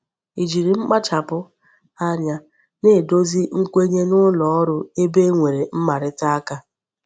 Ijiri mkpachapu anya na-edozi nkwenye n'uloru ebe e nwere mmarita aka